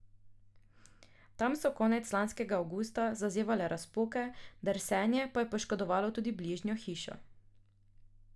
Tam so konec lanskega avgusta zazevale razpoke, drsenje pa je poškodovalo tudi bližnjo hišo.